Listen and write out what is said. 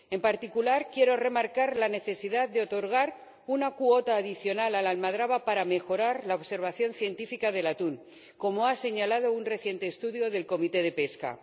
En particular, quiero remarcar la necesidad de otorgar una cuota adicional a la almadraba para mejorar la observación científica del atún, como ha señalado un reciente estudio de la Comisión de Pesca.